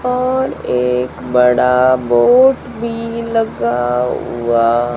और एक बड़ा बोर्ड भी लगा हुआ--